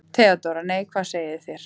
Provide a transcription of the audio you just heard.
THEODÓRA: Nei, hvað segið þér?